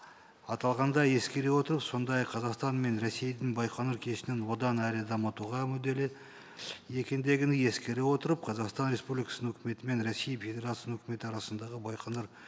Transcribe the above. аталғанды ескере отырып сондай ақ қазақстан мен ресейдің байқоңыр одан әрі дамытуға мүдделі екендігін ескере отырып қазақстан республикасының үкіметі мен ресей федерациясының үкіметі арасындағы байқоңыр